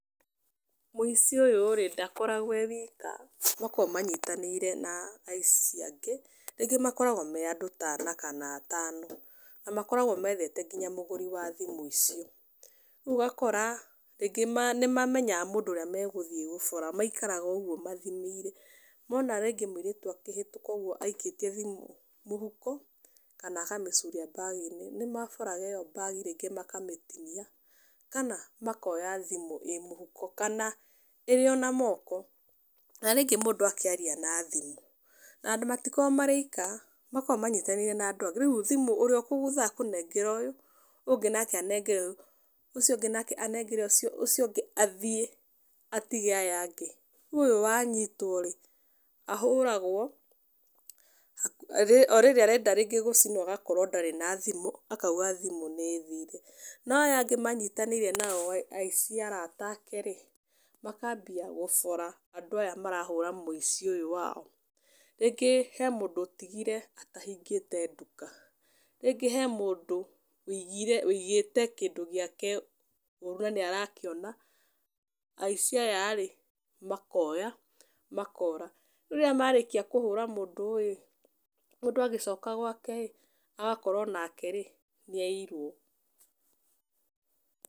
Mũici ũyũ-rĩ ndakoragwo e wika, makoragwo manyitanĩire na aici angĩ, rĩngĩ makoragwo me andũ ta ana kana atano, na makoragwo methete kinya mũgũri wa thimũ icio. Rĩu ũgakora rĩngĩ nĩmamenyaga mũndũ ũrĩa megũthiĩ gũbora, maikaraga oũguo mathimĩire. Mona rĩngĩ mũirĩtu akĩhĩtũka ũguo aikĩtie thimũ mũhuko kana akamĩcuria mbagi-inĩ, nĩmaboraga ĩyo mbagi rĩngĩ makamĩtinia kana makoya thimũ ĩ mũhuko, kana ĩrĩ ona moko. Na, rĩngĩ mũndũ akĩaria na thimũ na matikoragwo marĩ aika, makoragwo manyitanĩire na andũ angĩ, rĩu thimũ ũrĩa ũkũgutha akũnengera ũyũ, ũyũ ũngĩ nake anengere ũyũ, ũcio ũngĩ nake anengere ũcio, ũcio ũngĩ athie atige aya angĩ. Rĩu ũyũ wanyitwo-rĩ ahũragwo, o rĩrĩ arenda rĩngĩ gũcinwo rĩngĩ agakorwo ndarĩ na thimũ, akauga thimũ nĩĩthire. No, aya angĩ manyitanĩire nao aici arata ake-rĩ, makambia gũbora andũ aya marahũra mũici ũyũ wao. Rĩngĩ he mũndũ ũtigire atahingĩte nduka, rĩngĩ he mũndũ wĩigire wĩigĩte kĩndũ gĩake ũru na nĩarakĩona, aici aya-rĩ, makoya makora. Rĩu rĩrĩa marĩkia kũhũra mũndũ-ĩ, mũndũ agĩcoka gwake-ĩ, agakora onake-rĩ nĩaiyirwo.